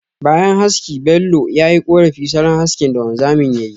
Bayan haski Bello, ya yi korafi salon haski da wanzamin yayi.